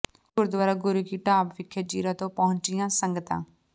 ਗੁਰਦੁਆਰਾ ਗੁਰੂ ਕੀ ਢਾਬ ਵਿਖੇ ਜ਼ੀਰਾ ਤੋਂ ਪਹੰੁਚੀਆਂ ਸੰਗਤਾਂ